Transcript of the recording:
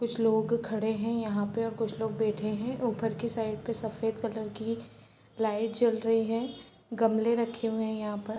कुछ लोगो खड़े है यहाँ पे और कुछ लोग बैठे हैं ऊपर की साइड पे सफेद कलर की लाइट जल रही हैं गमले रखे हुए है यहाँ पर |